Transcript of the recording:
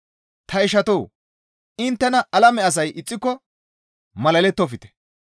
Ta ishatoo! Inttena alame asay ixxiko malalettofte.